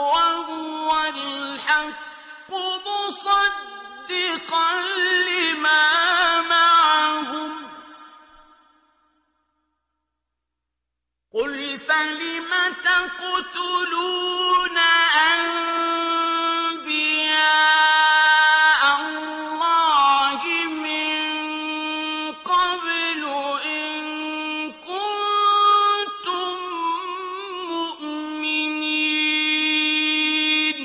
وَهُوَ الْحَقُّ مُصَدِّقًا لِّمَا مَعَهُمْ ۗ قُلْ فَلِمَ تَقْتُلُونَ أَنبِيَاءَ اللَّهِ مِن قَبْلُ إِن كُنتُم مُّؤْمِنِينَ